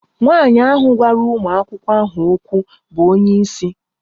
Nwanyị ahụ gwara ụmụ akwụkwọ ahụ okwu bụ onye isi